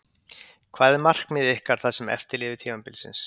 Hvað er markmið ykkar það sem eftir lifir tímabilsins?